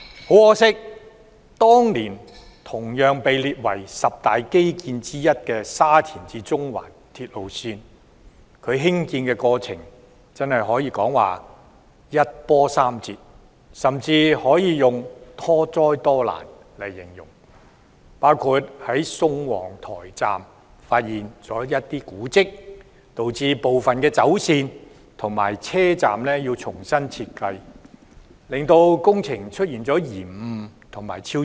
很可惜，當年同被列為十大基建之一的沙田至中環線，其興建過程可謂一波三折，甚至可以用多災多難來形容，包括在宋皇臺站發現古蹟，導致部分走線和車站要重新設計，令工程出現延誤和超支。